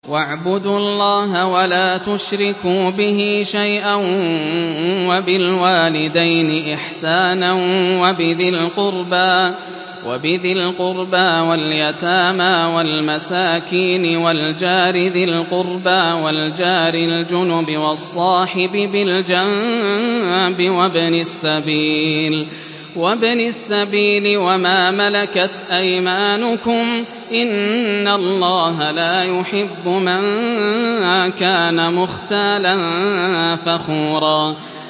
۞ وَاعْبُدُوا اللَّهَ وَلَا تُشْرِكُوا بِهِ شَيْئًا ۖ وَبِالْوَالِدَيْنِ إِحْسَانًا وَبِذِي الْقُرْبَىٰ وَالْيَتَامَىٰ وَالْمَسَاكِينِ وَالْجَارِ ذِي الْقُرْبَىٰ وَالْجَارِ الْجُنُبِ وَالصَّاحِبِ بِالْجَنبِ وَابْنِ السَّبِيلِ وَمَا مَلَكَتْ أَيْمَانُكُمْ ۗ إِنَّ اللَّهَ لَا يُحِبُّ مَن كَانَ مُخْتَالًا فَخُورًا